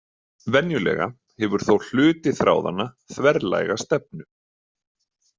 Venjulega hefur þó hluti þráðanna þverlæga stefnu.